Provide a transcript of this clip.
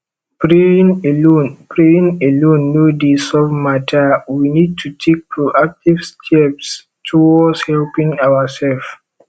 praying alone praying alone no dey solve matter we need to take proactive step towards helping ourself